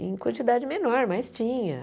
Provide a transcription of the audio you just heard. Em quantidade menor, mas tinha.